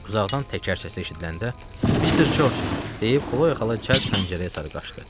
Uzaqdan təkər səsi eşidiləndə Mr. George deyib Xloya xala cəld pəncərəyə sarı qaçdı.